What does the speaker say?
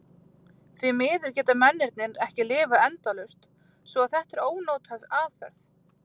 Því miður geta mennirnir ekki lifað endalaust svo að þetta er ónothæf aðferð.